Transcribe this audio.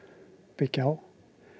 byggja á